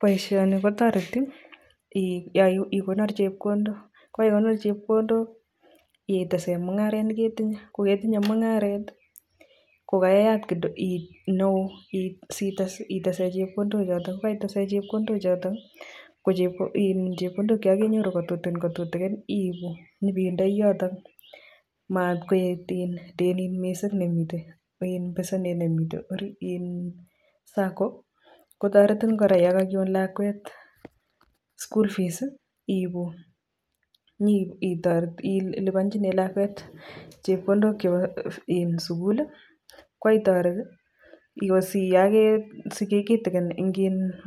Boisioni kotoreti biik ye konor chepkondok ko ye konot chepkondok itesen mungaret ne ketinye kogetinye mung'aret kogaiyat neo sitese chepkondok choto. Kogaitesen chepkondok choto kochepkondok che kogainyoru ko tutikin kotutikin iibu inyibeidoi yoton matkaet denit misng nemiten, iin besenet nemiten orit iin sang kotoretin kora yon kogiwon lakwet school fees iibu nyeiliponchinen lakwet chepkondok chebo sugul koitoret